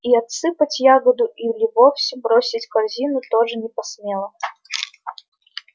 и отсыпать ягоду или вовсе бросить корзину тоже не посмела